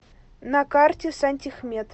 на карте сантехмет